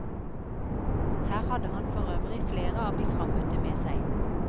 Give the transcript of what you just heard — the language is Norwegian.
Her hadde han for øvrig flere av de frammøtte med seg.